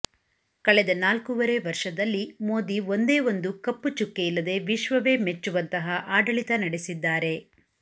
ಕಳೆದ ನಾಲ್ಕೂವರೆ ವರ್ಷದಲ್ಲಿ ಮೋದಿ ಒಂದೇ ಒಂದು ಕಪ್ಪು ಚುಕ್ಕೆಯಿಲ್ಲದೆ ವಿಶ್ವವೇ ಮೆಚ್ಚುವಂತಹ ಆಡಳಿತ ನಡೆಸಿದ್ದಾರೆ